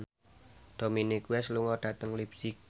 Dominic West lunga dhateng leipzig